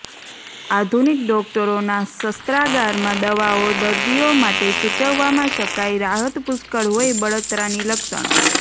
આધુનિક ડોકટરો ના શસ્ત્રાગાર માં દવાઓ દર્દીઓ માટે સૂચવવામાં શકાય રાહત પુષ્કળ હોય બળતરાની લક્ષણો